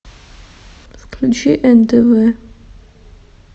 включи нтв